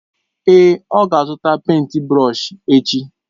Èé, ọ ga-azụta pèịnt brọsh echi.